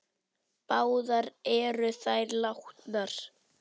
Báðar eru þær látnar.